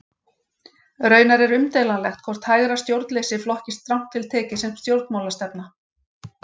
Raunar er umdeilanlegt hvort hægra stjórnleysi flokkist strangt til tekið sem stjórnmálastefna.